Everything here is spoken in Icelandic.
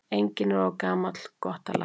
Enginn er of gamall gott að læra.